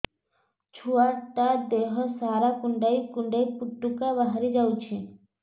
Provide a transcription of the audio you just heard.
ଛୁଆ ଟା ଦେହ ସାରା କୁଣ୍ଡାଇ କୁଣ୍ଡାଇ ପୁଟୁକା ବାହାରି ଯାଉଛି